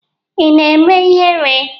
Ị na-eme ihere?